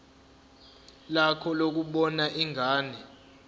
lakho lokubona ingane